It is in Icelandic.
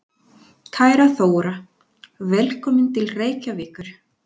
Kæra Þóra. Velkomin til Reykjavíkur.